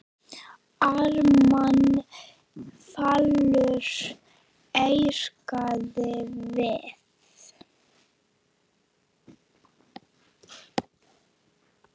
Ármann Valur ítrekar við